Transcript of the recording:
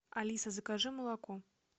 алиса закажи молоко